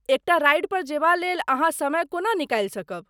एकटा राइडपर जेबा लेल अहाँ समय कोना निकालि सकब?